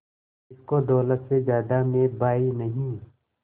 जिसको दौलत से ज्यादा मैं भाई नहीं